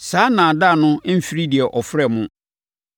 Saa nnaadaa no mfiri deɛ ɔfrɛ mo no.